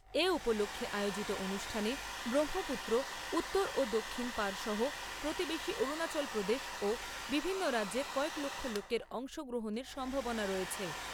এ উপলক্ষে আয়োজিত অনুষ্ঠানে ব্রহ্মপুত্র উত্তর ও দক্ষিণ পাড় সহ প্রতিবেশী অরুণাচল প্রদেশ ও বিভিন্ন রাজ্যের কয়েক লক্ষ লোকের অংশগ্রহণের সম্ভাবনা রয়েছে।